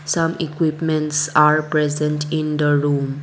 some equipments are present in the room.